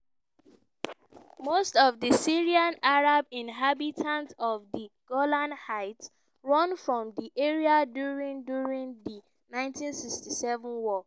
most of di syrian arab inhabitants of di golan heights run from di area during during di 1967 war.